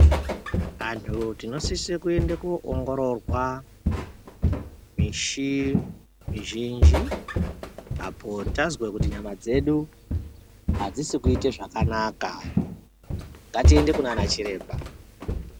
Antu tinosisa kuenda kundoongororwa misi mizhinji apo tazwa kuti nyama dzedu adzisi kuita zvakanaka ngatiende kunana chiremba.